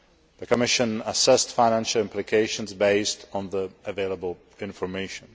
The Commission assessed financial implications on the basis of the available information.